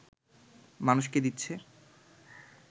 মানুষকে দিচ্ছে